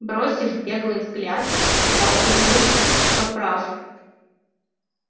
бросив беглый взгляд я убедился что прав